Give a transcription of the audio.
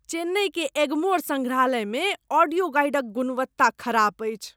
चेन्नई के एग्मोर संग्रहालयमे ऑडियो गाइडक गुणवत्ता खराप अछि।